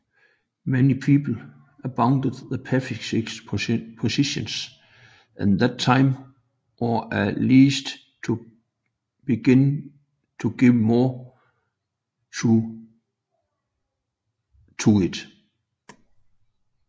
Many people abandoned the pacifist position at that time or at least began to give more thought to it